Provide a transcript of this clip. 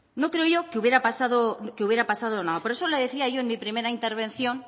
no creo yo que hubiera pasada nada por eso le decía yo en mi primera intervención